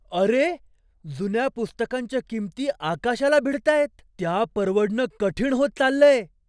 अरे! जुन्या पुस्तकांच्या किमती आकाशाला भिडतायत. त्या परवडणं कठीण होत चाललंय.